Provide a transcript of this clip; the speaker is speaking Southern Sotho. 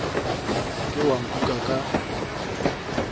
se ke wa nkuka ka